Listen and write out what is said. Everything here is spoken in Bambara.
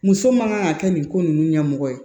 Muso ma ŋan ka kɛ nin ko ninnu ɲɛmɔgɔ ye